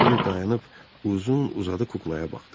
Kiber dayanıb uzun-uzadı kuklaya baxdı.